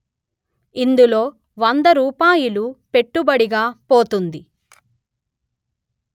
ఇందులో వంద రూపాయిలు పెట్టుబడిగా పోతుంది